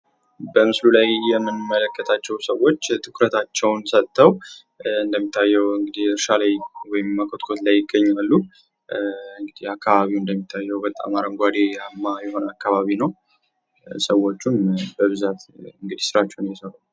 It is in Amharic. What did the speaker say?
በምስሉ ላይ የምንመለከታቸው ሰዎች ትኩረታቸውን ሰጠው እንደሚታየው እንግዲህ እርሻው ላይ ወይም መኮትኮት ላይ ይገኛሉ። እንግዲህ አካባቢው እንደሚታየው በጣም አረንጓዴ የሆነ አካባቢ ነው። ሰዎቹም በብዛት ስራቸውን እየሰሩ ነው።